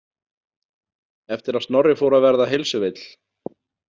Eftir að Snorri fór að verða heilsuveill.